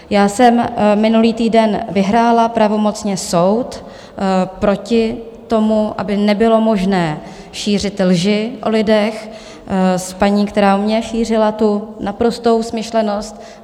Já jsem minulý týden vyhrála pravomocně soud proti tomu, aby nebylo možné šířit lži o lidech, s paní, která o mně šířila tu naprostou smyšlenost.